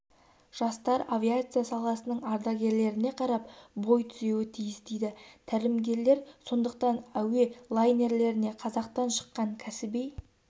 жастар авиация саласының ардагерлеріне қарап бой түзеуі тиіс дейді тәлімгерлер сондықтан әуе лайнерлеріне қазақтан шыққан кәсіби